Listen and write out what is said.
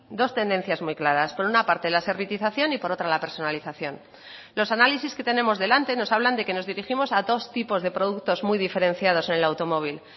dos tendencias muy claras por una parte la servitización y por otra la personalización los análisis que tenemos delante nos hablan de que nos dirigimos a dos tipos de productos muy diferenciados en el automóvil